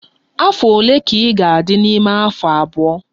Afọ ole ka ị ga-adị n'ime afọ abụọ?